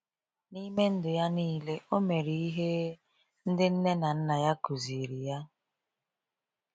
N’ime ndụ ya niile, o mere ihe ndị nne na nna ya kụziri ya.